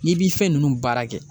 N'i b'i fɛn ninnu baara kɛ.